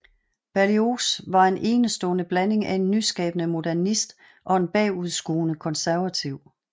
Berlioz var en enestående blanding af en nyskabende modernist og en bagudskuende konservativ